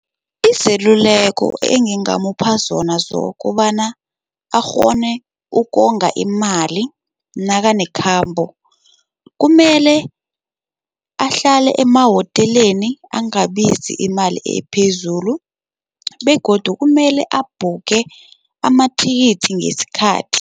Izeluleko engingamupha zona zokobana akghone ukonga imali nakanekhambo, kumele ahlale emahoteleni angabizi imali ephezulu begodu kumele abhukhe amathikithi ngesikhathi.